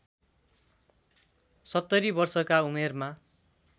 ७० वर्षका उमेरमा